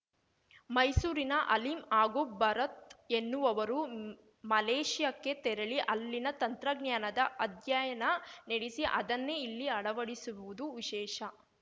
ಮೈಸೂರಿನ ಅಲಿಂ ಹಾಗೂ ಭರತ್‌ ಎನ್ನುವವರು ಮಲೇಶಿಯಾಕ್ಕೆ ತೆರಳಿ ಅಲ್ಲಿನ ತಂತ್ರಜ್ಞಾನದ ಅಧ್ಯಯನ ನಡೆಸಿ ಅದನ್ನೇ ಇಲ್ಲಿ ಅಳವಡಿಸಿರುವುದು ವಿಶೇಷ